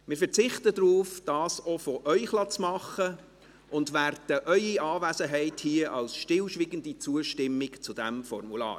Wir verzichten darauf, dies auch von Ihnen erstellen zu lassen, und werten Ihre Anwesenheit als stillschweigende Zustimmung zu diesem Formular.